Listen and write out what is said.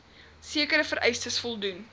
sekere vereistes voldoen